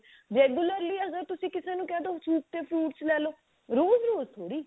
regularly ਅਗਰ ਤੁਸੀਂ ਕਿਸੇ ਨੂੰ ਕਿਹ ਦੋ soup ਤੇ fruits ਲੈਲੋ ਰੋਜ਼ ਰੋਜ਼ ਥੋੜੀ